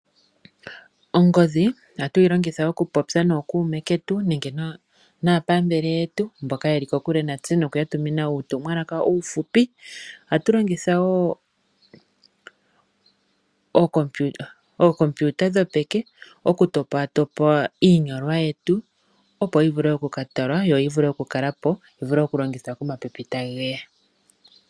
Ongodhi ohatu yi longitha okupopya nookuume ketu nenge naapambele yetu mboka ye li kokule natse noku ya tumina uutumwalaka uufupi. Ohatu longitha wo ookompiuta dhopeke okutopatopa iinyolwa yetu, opo yi vule oku ka talwa yo yi vule okukala po, yi vule okulongithwa komapipi tage ya.